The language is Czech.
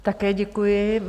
Také děkuji.